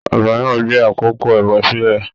Ọba náà gbé àkókò ẹbọ sílẹ.